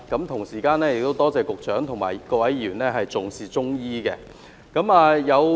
同時，我亦多謝局長及各位議員重視中醫。